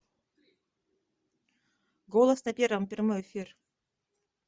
голос на первом прямой эфир